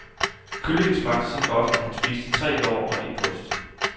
Kyllingen smagte så godt, at han spiste tre lår og et bryst.